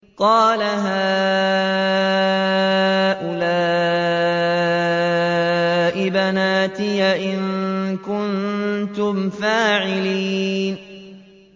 قَالَ هَٰؤُلَاءِ بَنَاتِي إِن كُنتُمْ فَاعِلِينَ